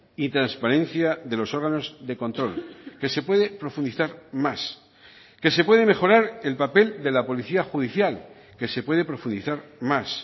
y transparencia de los órganos de control que se puede profundizar más que se puede mejorar el papel de la policía judicial que se puede profundizar más